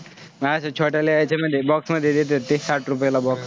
अशा छोट्याला यायचे मध्ये box मध्ये देतात ते साठ रुपयाला box